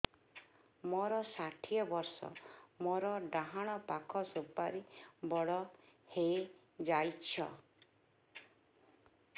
ମୋର ଷାଠିଏ ବର୍ଷ ମୋର ଡାହାଣ ପାଖ ସୁପାରୀ ବଡ ହୈ ଯାଇଛ